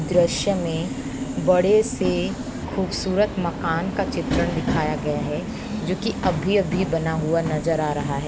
दृश्य में बड़े से खूबसूरत मकान का चित्रण दिखाया गया है जोकि अभी अभी बना हुआ नजर आ रहा है।